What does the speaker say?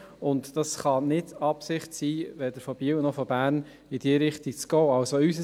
Dies kann weder von Biel noch von Bern die Absicht sein, in diese Richtung zu gehen.